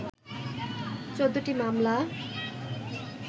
১৪ টি মামলা